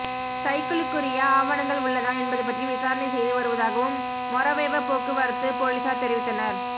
சைக்கிளுக்குரிய ஆவணங்கள் உள்ளதா என்பது பற்றி விசாரணை செய்து வருவதாகும் மொறவெவ போக்குவரத்து பொலிஸார் தெரிவித்தனர்